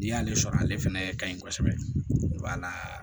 N'i y'ale sɔrɔ ale fɛnɛ ka ɲi kosɛbɛ wala